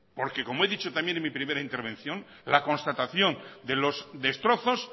porque como he dicho también en mi primera intervención la constatación de los destrozos